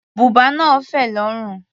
Bùbá náà fẹ̀ lórùn.